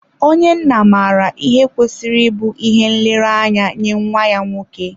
Onye nna maara ihe kwesịrị ịbụ ihe nlereanya nye nwa ya nwoke.